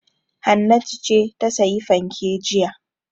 Hannatu ce ta sayi fanke jiya.